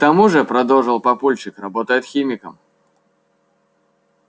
к тому же продолжил папульчик работает химиком